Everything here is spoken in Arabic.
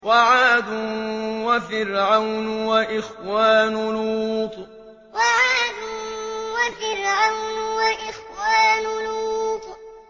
وَعَادٌ وَفِرْعَوْنُ وَإِخْوَانُ لُوطٍ وَعَادٌ وَفِرْعَوْنُ وَإِخْوَانُ لُوطٍ